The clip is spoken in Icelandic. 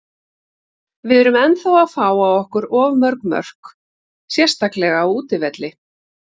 Við erum ennþá að fá á okkur of mörg mörk, sérstaklega á útivelli.